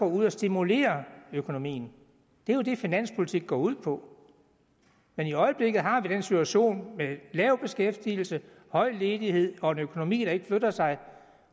ud og stimulerer økonomien det er jo det finanspolitik går ud på men i øjeblikket har vi en situation med lav beskæftigelse høj ledighed og en økonomi der ikke flytter sig